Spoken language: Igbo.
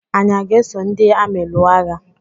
Anyị a ga-eso ndị amị lụọ agha?